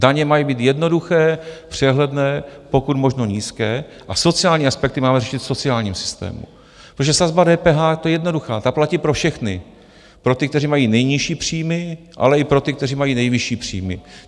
Daně mají být jednoduché, přehledné, pokud možno nízké a sociální aspekty máme řešit v sociálním systému, protože sazba DPH, ta je jednoduchá, ta platí pro všechny, pro ty, kteří mají nejnižší příjmy, ale i pro ty, kteří mají nejvyšší příjmy.